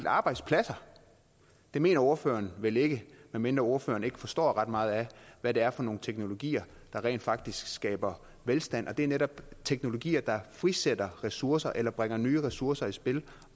arbejdspladser det mener ordføreren vel ikke med mindre ordføreren ikke forstår ret meget af hvad det er for nogle teknologier der rent faktisk skaber velstand det er netop teknologier der frisætter ressourcer eller bringer nye ressourcer i spil